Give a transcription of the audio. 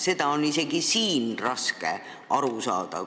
Sellest on isegi siin raske aru saada.